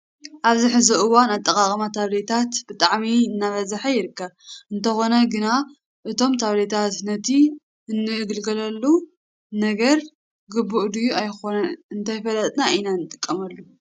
ኣብዚ ሕዚ እዋን ኣጠቃቅማ ታቤላታት ብጣዕሚ እናበዝሓ ይርከብ። እንተኾነ ግና እቶም ታቤላታት ነቲ እንግልገለሉ ነገር ግቡእ ድዩ ኣይኾነን እንተይፈለጥና ኢና ንጥቀመሎም።